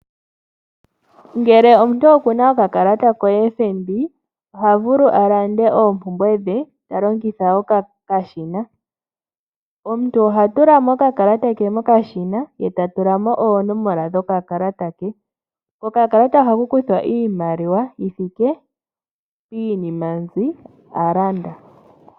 Ngele omuntu okuna okakalata ko Fnb oha vulu a lande oompumbwe dhe ta longitha okashina. Omuntu ohatu lamo okakalata ke mokashina ye ta tulamo oonomola dho kakalata ke. Ko kakalata ohaku kuthwa iimaliwa yi thike piinima mbi a landa.